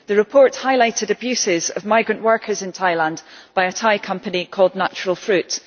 The report highlighted abuses of migrant workers in Thailand by a Thai company called Natural Fruits.